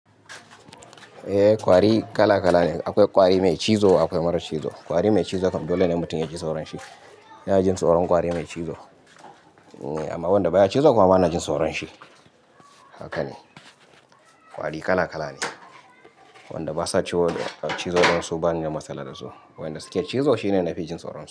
Eh kwari kala-kala ne. Akwai kwari mai cizo akwai marar cizo. Kwari mai cizo kam dole ne mutum ya ji tsoron shi. Ina jin tsoron kwari mai cizo. Amma wanda baya cizo kuma bana jin tsoron shi. Haka ne. Kwari kala-kala ne. Wanda basa ci cizo dansu bani da matsala da su. Wanda suke cizo shine na fi jin tsoron su.